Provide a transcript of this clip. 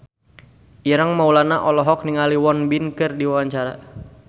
Ireng Maulana olohok ningali Won Bin keur diwawancara